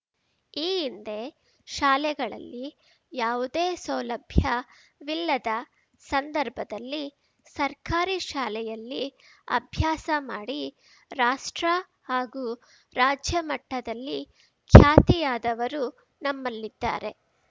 ಈ ಹಿಂದೆ ಶಾಲೆಗಳಲ್ಲಿ ಯಾವುದೇ ಸೌಲಭ್ಯವಿಲ್ಲದ ಸಂದರ್ಭದಲ್ಲಿ ಸರ್ಕಾರಿ ಶಾಲೆಯಲ್ಲಿ ಅಭ್ಯಾಸ ಮಾಡಿ ರಾಷ್ಟ್ರ ಹಾಗೂ ರಾಜ್ಯ ಮಟ್ಟದಲ್ಲಿ ಖ್ಯಾತಿಯಾದವರು ನಮ್ಮಲ್ಲಿದ್ದಾರೆ